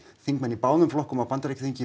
þingmenn í báðum flokkum á Bandaríkjaþingi